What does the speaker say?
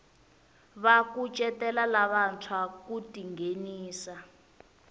va kucetela lavantshwa ku tinghenisa